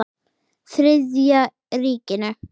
Þriðja ríkinu.